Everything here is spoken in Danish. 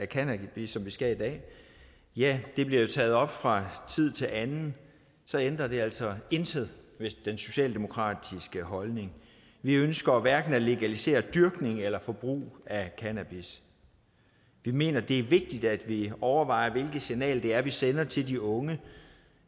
cannabis som vi skal i dag ja det bliver jo taget op fra tid til anden så ændrer det altså intet ved den socialdemokratiske holdning vi ønsker hverken at legalisere dyrkning eller forbrug af cannabis vi mener at det er vigtigt at vi overvejer hvilke signaler vi sender til de unge